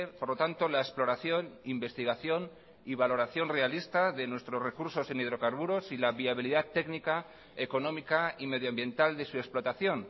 por lo tanto la exploración investigación y valoración realista de nuestros recursos en hidrocarburos y la viabilidad técnica económica y medioambiental de su explotación